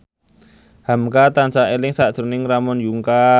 hamka tansah eling sakjroning Ramon Yungka